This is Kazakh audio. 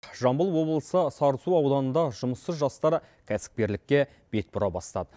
жамбыл облысы сарысу ауданында жұмыссыз жастар кәсіпкерлікке бет бұра бастады